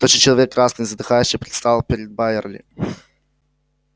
тощий человек красный и задыхающийся предстал перед байерли